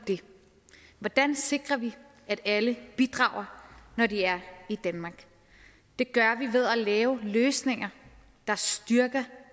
hvordan sikrer vi at alle bidrager når de er i danmark det gør vi ved at lave løsninger der styrker